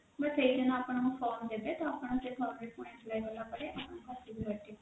but ସେଇଦିନ ଆପଣଙ୍କୁ form ଦେବେ ତ ଆପଣ ସେ form କଲା ପରେ ଆପଣ